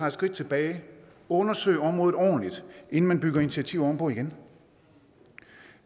et skridt tilbage og undersøge området ordentligt inden man bygger initiativer oven på igen